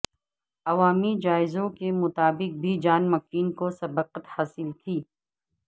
عوامی جائزوں کے مطابق بھی جان مکین کو سبقت حاصل تھی